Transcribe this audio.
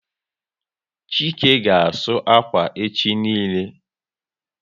Chike ga asụ akwa echi niile